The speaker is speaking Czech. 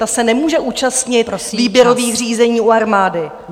Ta se nemůže účastnit výběrových řízení u armády.